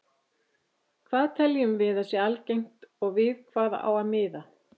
Hvað teljum við að sé algengt og við hvað á að miða?